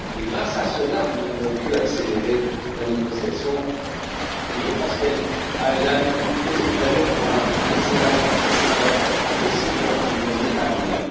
Grâce à cela, nous avons pu accélérer la négociation et je pense qu'elle a posé les jalons d'un excellent précédent pour les années à venir.